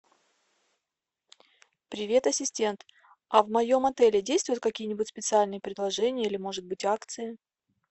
привет ассистент а в моем отеле действуют какие нибудь специальные предложения или может быть акции